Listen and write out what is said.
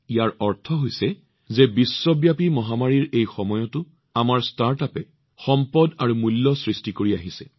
ইয়াৰ অৰ্থ হৈছে যে বিশ্বব্যাপী মহামাৰীৰ এই যুগতো আমাৰ ষ্টাৰ্টআপে সম্পদ আৰু মূল্য সৃষ্টি কৰি আহিছে